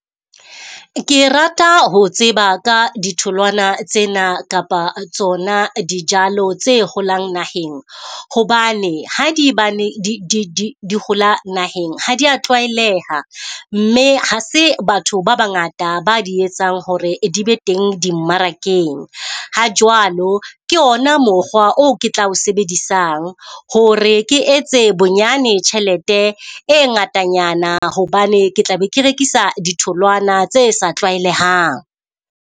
Ke rata ho tseba ka ditholwana tsena kapa tsona dijalo tse holang naheng, hobane ha di ba ne di di di hola naheng. Ha di ya tlwaeleha, mme ha se batho ba bangata ba di etsang hore di be teng dimmarakeng. Ha jwalo ke ona mokgwa o ke tla o sebedisang hore ke etse bonyane tjhelete e ngatanyana hobane ke tla be ke rekisa ditholwana tse sa tlwaelehang.